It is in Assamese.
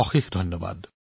অশেষ ধন্যবাদ